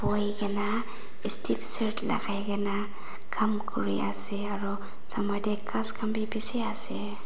bohukae na stip shirt lakai kae na Kam kuriase aro ghas khan bi bishi ase.